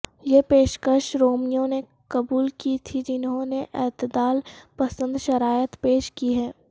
یہ پیشکش رومیوں نے قبول کی تھی جنہوں نے اعتدال پسند شرائط پیش کی ہیں